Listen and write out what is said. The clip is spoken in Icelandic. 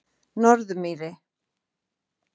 Norðurmýri